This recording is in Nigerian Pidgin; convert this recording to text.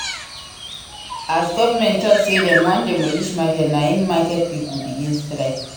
As government tok sey dem wan demolish market na im market pipo begin strike.